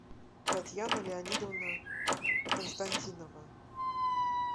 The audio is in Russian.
татьяна леонидовна константинова